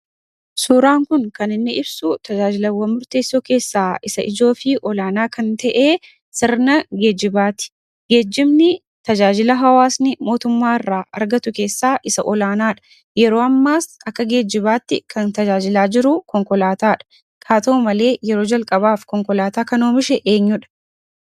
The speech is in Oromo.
Suuraan kun, kaniinni ibsu tajaajilawwaan murteessoo keessa isa ijoo fi olaanaa kan ta'e, sirna geejjibati. geejjibni tajaajila hawaasni mootumma irra argatu keessa isa olaanaadha. yeroo ammas, akka geejjibatti kan tajaajila jiru konkolaatadha. haa ta'u malee, yeroo jalqaaf, konkolaata kan Oomishe eenyuudha?